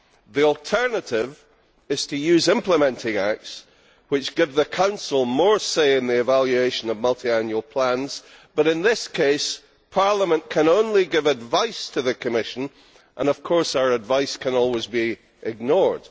The alternative is to use implementing acts which give the Council more say in the evaluation of multiannual plans, but in this case Parliament can only give advice to the Commission and of course our advice can always be ignored.